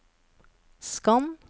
skann